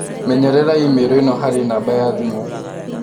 Menyerera i-mīrū ĩno harĩ namba ya thimũ